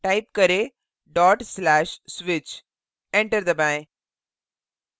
type करें :/switch enter दबाएँ